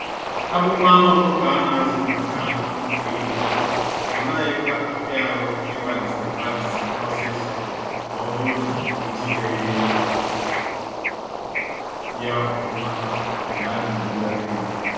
Akpụkpọ anụ ọkụkọ a na azụ maka anụ dị nro, ọ naghị kwa afia arụ ịgbalisi agbalisi ọsịsọ na oburu na ejideghi ya ofụma mgbe a na egbuari ya.